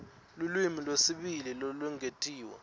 lulwimi lwesibili lolwengetiwe